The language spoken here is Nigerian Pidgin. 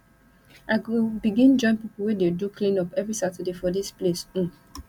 i go begin join pipo wey dey do cleanup every saturday for dis place um